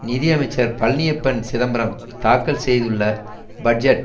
நிதியமைச்சர் பழனியப்பன் சிதம்பரம் தாக்கல் செய்துள்ள பட்ஜெட்